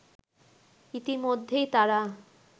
ইতিমধ্যেই তারা